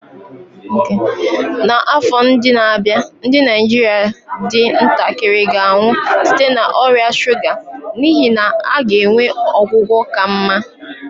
N'afọ ndị na-abịa, ndị Naijiria dị ntakịrị ga-anwụ site na ọrịa shuga n'ihi na a ga-enwe ọgwụgwọ ka mma.